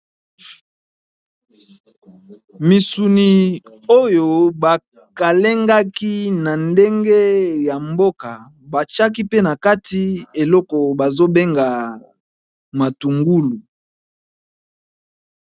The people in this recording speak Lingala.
Misuni oyo bakalengaki na ndenge ya mboka batiaki pe na kati eloko bazobenga matungulu.